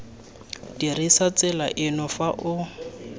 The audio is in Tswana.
dirisa tsela eno fa o